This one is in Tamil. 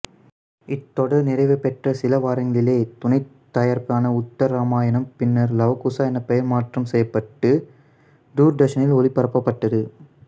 இத்தொடர் நிறைவுபெற்ற சிலவாரங்களில் துணைத்தயாரிப்பான உத்தர் இராமாயணம் பின்னர் லவ குசா என பெயர் மாற்றம் செய்யப்பட்டது தூர்தர்சனில் ஒளிபரப்பப்பட்டது